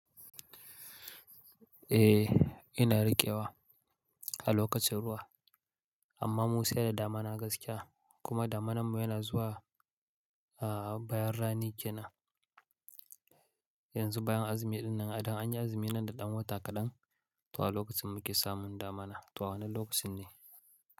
Eh ina riƙewa a lokacin ruwa amma mu sai da dama na gaskiya kuma damanar ma yana zuwa a bayan rani ke nan yanzu bayan azumi dinnan idan an yi azumi nan da ɗan wata kaɗan to a lokacin muke samun damana to wannan lokacin ne.